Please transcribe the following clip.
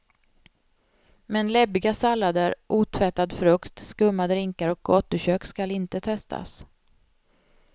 Men läbbiga sallader, otvättad frukt, skumma drinkar och gatukök skall inte testas.